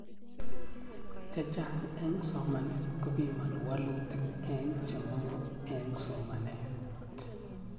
Chechang' eng' somanet kopimani walutik eng' che mang'u eng' somanet